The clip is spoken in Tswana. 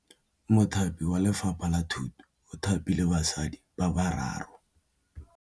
Mothapi wa Lefapha la Thutô o thapile basadi ba ba raro.